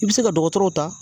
I bɛ se ka dɔgɔtɔrɔw ta